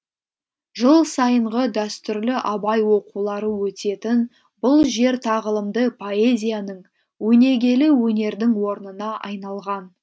жыл сайынғы дәстүрлі абай оқулары өтетін бұл жер тағылымды поэзияның өнегелі өнердің орнына айналған